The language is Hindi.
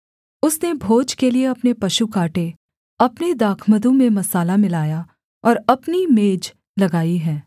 उसने भोज के लिए अपने पशु काटे अपने दाखमधु में मसाला मिलाया और अपनी मेज लगाई है